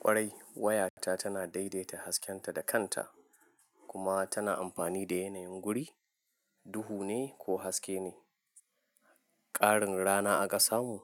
Ƙwarai wayata tana daidaita haskenta da kanta kuma tana amfani da yanayin wuri, duhu ne ko haske ne, ƙarin rana aka samu